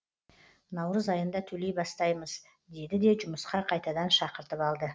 наурыз айында төлей бастаймыз деді де жұмысқа қайтадан шақыртып алды